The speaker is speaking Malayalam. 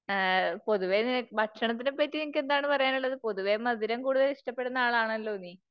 പൊതുവെ നിന, ഭക്ഷണത്തിനെ പറ്റി നിനക്ക് എന്താണ് പറയാനുള്ളത്? പൊതുവെ മധുരം കൂടുതൽ ഇഷ്ടപ്പെടുന്ന ആളാണല്ലോ നീ.